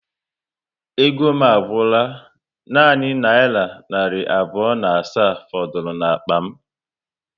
Ego m agwụla, nanị naira narị abụọ na asaa fọdụrụ n'akpa m